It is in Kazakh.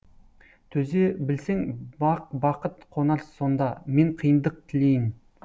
төзе білсең бақ бақыт қонар сонда мен қиындық тілейін